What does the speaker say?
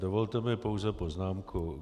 Dovolte mi pouze poznámku.